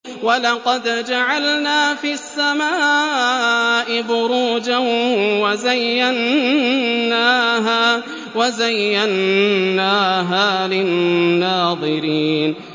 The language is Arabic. وَلَقَدْ جَعَلْنَا فِي السَّمَاءِ بُرُوجًا وَزَيَّنَّاهَا لِلنَّاظِرِينَ